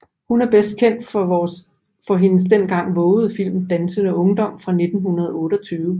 Hun er bedst kendt for hendes dengang vovede film Dansende Ungdom fra 1928